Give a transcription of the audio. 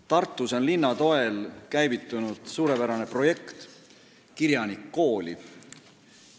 Tartus on linna toel käivitunud suurepärane projekt "Kirjanik kooli!".